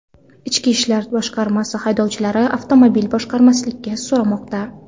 Ichki ishlar boshqarmasi haydovchilardan avtomobil boshqarmaslikni so‘ramoqda.